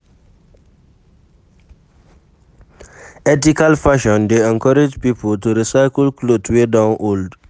Ethical fashion dey encourage pipo to recycle cloth wey don old